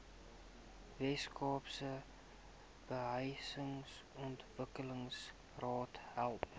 weskaapse behuisingsontwikkelingsraad help